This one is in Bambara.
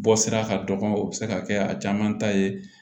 Bɔ sira ka dɔgɔ o bɛ se ka kɛ a caman ta ye